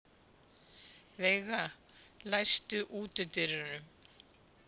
Veiga, læstu útidyrunum.